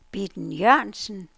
Bitten Jørgensen